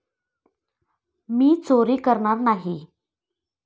मी चोरी करणार नाही.